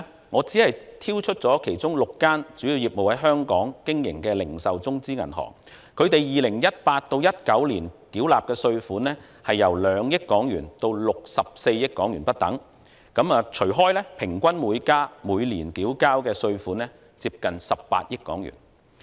我只挑出其中6間主要業務在香港經營的零售中資銀行，他們在 2018-2019 年度所繳納的稅款由2億元至64億元不等，平均每間每年繳交稅款接近18億元。